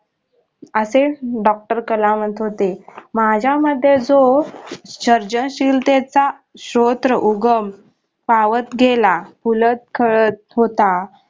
असे doctor कलाम होते माझ्यामते जो सर्जनशीलतेचा स्त्रोत्र उगम फावत गेला फुलत खळत होता.